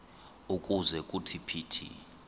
ukuze kuthi phithi